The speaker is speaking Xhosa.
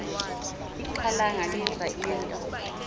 ixhalanga liva into